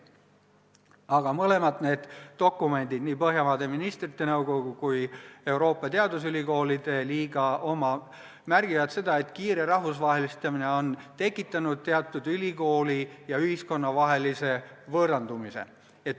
Aga mõlemad dokumendid, nii Põhjamaade Ministrite Nõukogu kui ka Euroopa Teadusülikoolide Liiga oma, märgivad seda, et kiire rahvusvahelistumine on tekitanud ülikoolide ja ühiskonna vahel teatava võõrandumise.